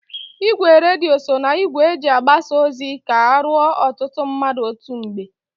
Igwe redio so na igwe eji agbasa ozi ka o ruo ọtụtụ mmadụ otu mgbe.